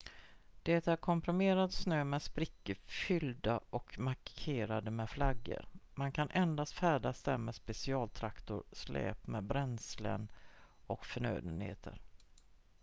det är komprimerad snö med sprickor fyllda och markerade med flaggor man kan endast färdas där med specialtraktorer släp med bränslen och förnödenheter